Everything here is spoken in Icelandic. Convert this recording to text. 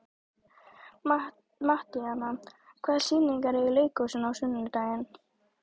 Mattíana, hvaða sýningar eru í leikhúsinu á sunnudaginn?